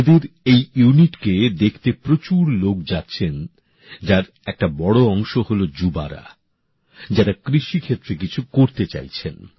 ওঁদের এই ইউনিটকে দেখতে প্রচুর লোক যাচ্ছেন যার একটা বড় অংশ হলো যুবক যুবতীরা যারা কৃষিক্ষেত্রে কিছু করতে চাইছেন